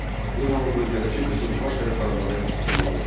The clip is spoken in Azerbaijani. Bu zaman bölgədəki qızılbaş tərəfdarları ona qoşuldu.